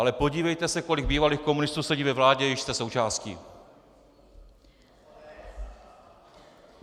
Ale podívejte se, kolik bývalých komunistů sedí ve vládě, jíž jste součástí.